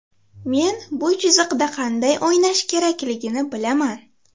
Men bu chiziqda qanday o‘ynash kerakligini bilaman.